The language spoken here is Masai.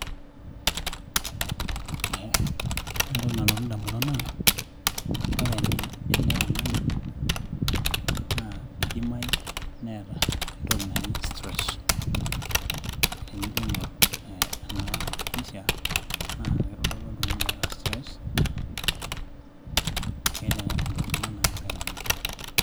Ore entoki nalotu indamunot naa, ore ele tung'ani idimayu neeta entoki naji stress ashu tenijooaing'orr ee ena pisha naa kitodolu oltung'ani oota stress, eeta ingolikinot naagira aimaa.